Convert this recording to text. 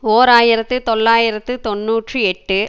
ஓர் ஆயிரத்து தொள்ளாயிரத்து தொன்னூற்றி எட்டு